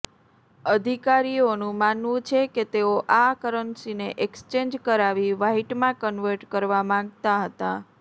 અધિકારીઓનું માનવુ છે કે તેઓ આ કરન્સીને એક્સચેન્જ કરાવી વ્હાઈટમાં કન્વર્ટ કરવા માંગતા હતા